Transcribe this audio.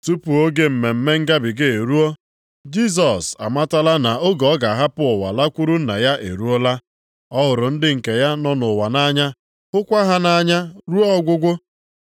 Tupu oge Mmemme Ngabiga eruo, Jisọs amatala na oge ọ ga-ahapụ ụwa lakwuru Nna ya eruola. Ọ hụrụ ndị nke ya nọ nʼụwa nʼanya, hụkwa ha nʼanya ruo ọgwụgwụ.